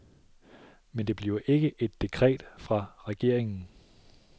Men det bliver ikke et dekret fra regeringen.